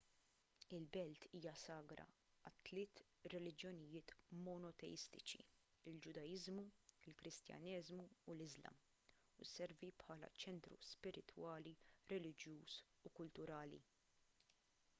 il-belt hija sagra għat-tliet reliġjonijiet monoteistiċi il-ġudaiżmu il-kristjaneżmu u l-islam u sservi bħala ċentru spiritwali reliġjuż u kulturali